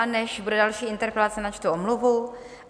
A než bude další interpelace, načtu omluvu.